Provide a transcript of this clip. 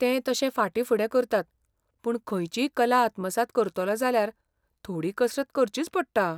ते तशे फाटींफुडें करतात पूण खंयचीय कला आत्मसात करतलो जाल्यार थोडी कसरत करचीच पडटा.